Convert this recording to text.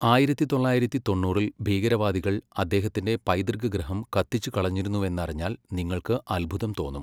ആയിരത്തി തൊള്ളായിരത്തി തൊണ്ണൂറിൽ ഭീകരവാദികൾ അദ്ദേഹത്തിന്റെ പൈതൃകഗൃഹം കത്തിച്ചുകളഞ്ഞിരുന്നുവെന്നറിഞ്ഞാൽ നിങ്ങൾക്ക് അത്ഭുതം തോന്നും.